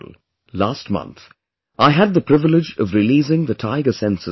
Last month I had the privilege of releasing the tiger census in the country